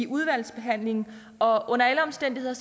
udvalgsbehandlingen og under alle omstændigheder